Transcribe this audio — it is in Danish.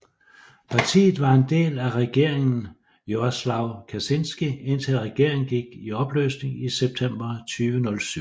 Partiet var en del af Regeringen Jarosław Kaczyński indtil regeringen gik i opløsning i september 2007